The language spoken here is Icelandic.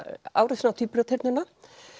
árásin á tvíburaturnana